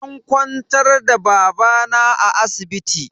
An kwantar da babana a asibiti.